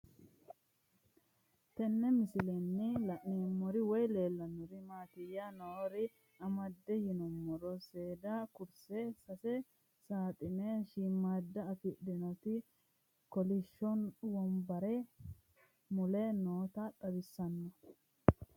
Tenne misilenni la'nanniri woy leellannori maattiya noori amadde yinummoro seeda kurisse sase saaxine shiimmada afidhinnoti kolishsho wonbare mule nootta xawissanno